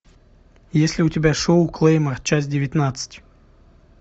есть ли у тебя шоу клейма часть девятнадцать